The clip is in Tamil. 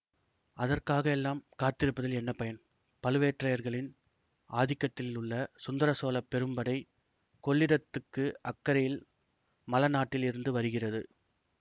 அதற்காகவெல்லாம் காத்திருப்பதில் என்ன பயன் பழுவேட்டரையர்களின் ஆதிக்கத்திலுள்ள சுந்தர சோழ பெரும்படை கொள்ளிடத்துக்கு அக்கரையில் மழ நாட்டில் இருந்து வருகிறது